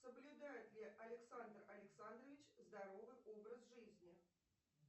соблюдает ли александр александрович здоровый образ жизни